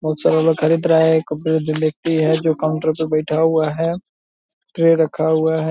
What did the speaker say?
बहुत सारे लोग खरीद रहा है एक बुजुर्ग व्यक्ति है जो काउन्टर पे बेठा हुआ है ट्रे रखा हुआ है ।